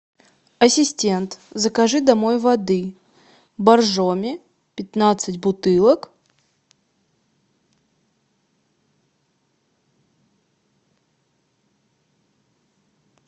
ассистент закажи домой воды боржоми пятнадцать бутылок